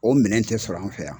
O minɛ tɛ sɔrɔ an fɛ yan.